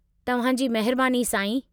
तव्हां जी महिबानी साईं।